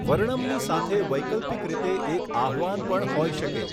વર્ણમની સાથે વૈકલ્પિક રીતે એક આહ્વવાન પણ હોઈ શકે.